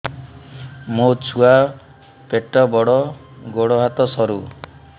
ମୋ ଛୁଆ ପେଟ ବଡ଼ ଗୋଡ଼ ହାତ ସରୁ